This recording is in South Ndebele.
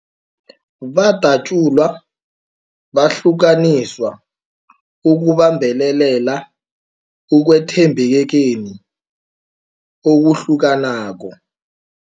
Badatjulwa, bahlukaniswa ukubambelela ekwethembekeni okuhlukanako.